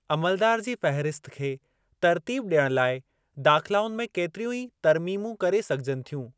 अमलदार जी फ़हिरिस्त खे तरतीब ॾियणु लाइ दाख़िलाउनि में केतिरियूं ई तरमीमूं करे सघिजनि थियूं।